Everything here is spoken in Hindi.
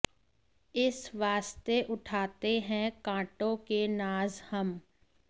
इस वास्ते उठाते हैं काँटों के नाज़ हम